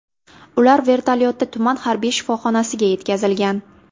Ular vertolyotda tuman harbiy shifoxonasiga yetkazilgan.